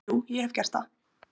Jú, ég hef gert það.